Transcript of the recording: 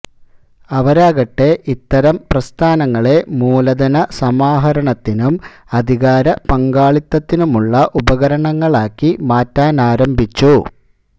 അവരാകട്ടെ ഇത്തരം പ്രസ്ഥാനങ്ങളെ മൂലധന സമാഹരണത്തിനും അധികാര പങ്കാളിത്തത്തിനുമുള്ള ഉപകരണങ്ങളാക്കി മാറ്റാനാരംഭിച്ചു